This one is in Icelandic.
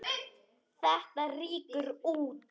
Þetta rýkur út.